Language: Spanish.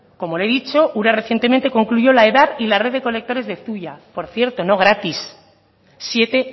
como le he dicho ura recientemente concluyó la edad y la red de colectores de zuia por cierto no gratis siete